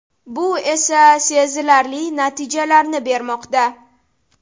Bu esa sezilarli natijalarni bermoqda.